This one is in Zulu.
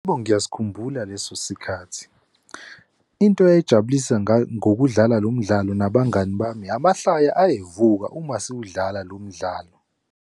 Yebo, ngiyasikhumbula leso sikhathi. Into eyayijabulisa ngokudlala lo mdlalo nabangani bami amahlaya ayevuka uma siwudlala lo mdlalo.